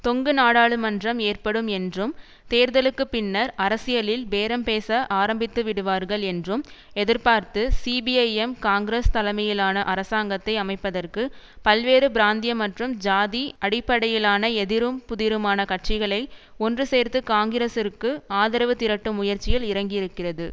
தொங்கு நாடாளுமன்றம் ஏற்படும் என்றும் தேர்தலுக்கு பின்னர் அரசியலில் பேரம் பேச ஆரம்பித்துவிடுவார்கள் என்றும் எதிர்பார்த்து சிபிஐஎம் காங்கிரஸ் தலைமையிலான அரசாங்கத்தை அமைப்பதற்கு பல்வேறு பிராந்திய மற்றும் ஜாதி அடிப்படையிலான எதிரும் புதிருமான கட்சிகளை ஒன்று சேர்த்து காங்கிரசிற்கு ஆதரவு திரட்டும் முயற்சியில் இறங்கியிருக்கிறது